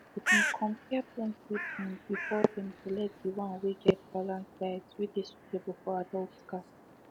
they been compare plenty brands before them select the one wey get balanced diet wey dey suitable for adults cats